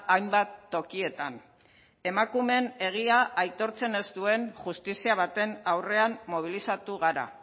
hainbat tokietan emakumeen egia aitortzen ez duen justizia baten aurrean mobilizatu gara